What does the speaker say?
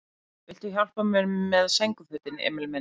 Viltu hjálpa mér með sængurfötin, Emil minn?